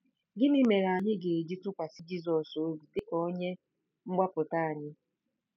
Gịnị mere anyị ga-eji tụkwasị Jizọs obi dị ka Onye Mgbapụta anyị?